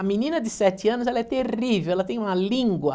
A menina de sete anos, ela é terrível, ela tem uma língua.